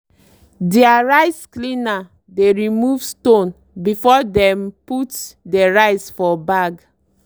deir rice cleaner dey remove stone before dem put dey rice for bag.